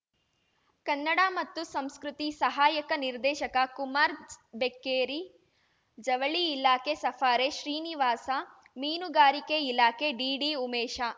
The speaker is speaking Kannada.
ಕನ್ನಡ ಮತ್ತು ಸಂಸ್ಕೃತಿ ಸಹಾಯಕ ನಿರ್ದೇಶಕ ಕುಮಾರ್ ಬೆಕ್ಕೇರಿ ಜವಳಿ ಇಲಾಖೆ ಸಫಾರೆ ಶ್ರೀನಿವಾಸ ಮೀನುಗಾರಿಕೆ ಇಲಾಖೆ ಡಿಡಿ ಉಮೇಶ